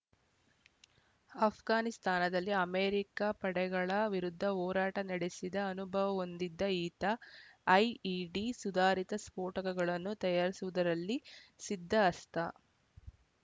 ಆಷ್ಘಾನಿಸ್ತಾನದಲ್ಲಿ America ಪಡೆಗಳ ವಿರುದ್ಧ ಹೋರಾಟ ನಡೆಸಿದ ಅನುಭವ ಒಂದಿದ್ದ ಈತ ಐಇಡಿ ಸುಧಾರಿತ ಸ್ಫೋಟಕಗಳನ್ನು ತಯಾರಿಸುವುದರಲ್ಲಿ ಸಿದ್ಧಅಸ್ತ